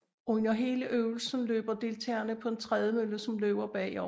Under hele øvelsen løber deltageren på en trædemølle som løber bagover